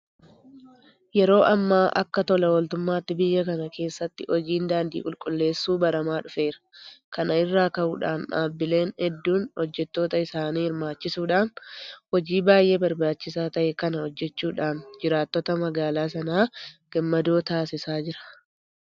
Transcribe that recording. Yeroo ammaa akka tola ooltummaatti biyya kana keessatti hojiin daandii qulqulleessuu baramaa dhufeera. Kana irraa ka'uudhaan dhaabbileen hedduun hojjettoota isaanii hirmaachisuudhaan hojii baay'ee barbaachisaa ta'e kana hojjechuudhaan jiraattota magaalaa sanaa gammadoo taasisaa jiru.